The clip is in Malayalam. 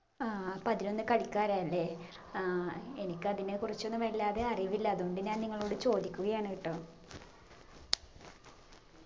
ആ പതിനൊന്ന് കളിക്കാരാ അല്ലെ ആ എനിക്ക് അതിനെ കുറിച്ചൊന്നും വല്ലാതെ അറിവില്ല അതുകൊണ്ട് ഞാൻ നിങ്ങളോട് ചോദിക്കുകയാണ് കേട്ടോ